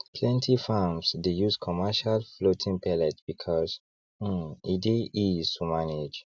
plenty farms dey use commercial floating pellet because um e dey ease to manage